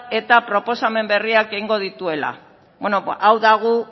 eta proposamen berriak egingo dituela hau da gu